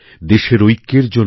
দেশের ঐক্যের জন্য